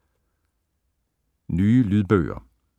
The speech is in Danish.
Nye lydbøger